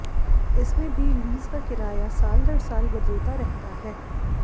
इसमें भी लीज का किराया साल दर साल बदलता रहता है